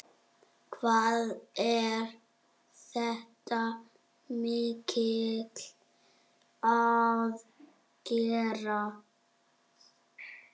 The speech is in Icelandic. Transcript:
Hvað er þetta mikil aðgerð?